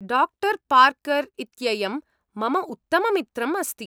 डा. पार्कर् इत्ययं मम उत्तममित्रम् अस्ति।